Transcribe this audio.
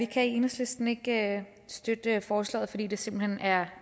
kan i enhedslisten ikke støtte forslaget fordi det simpelt hen er